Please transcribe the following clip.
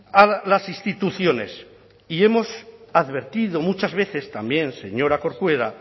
a las instituciones y hemos advertido muchas veces también señora corcuera